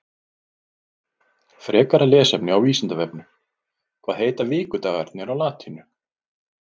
Frekara lesefni á Vísindavefnum Hvað heita vikudagarnir á latínu?